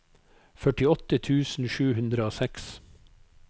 førtiåtte tusen sju hundre og seks